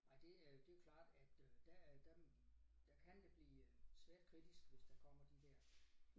Nej det øh det jo klart at øh der der der kan det blive svært kritisk hvis der kommer de der